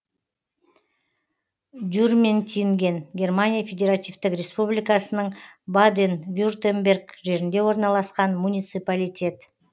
дюрментинген германия федеративтік республикасының баден вюртемберг жерінде орналасқан муниципалитет